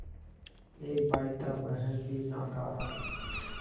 एक भाई था वह भी नाकारा